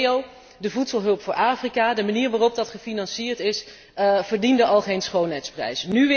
Galileo, de voedselhulp voor Afrika, de manier waarop dat gefinancierd is, verdiende al geen schoonheidsprijs.